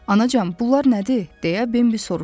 Anacan, bunlar nədir deyə Bembi soruşdu.